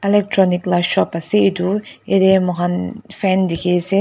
Electronic la shop ase etu yathe mokhan fan dekhe ase.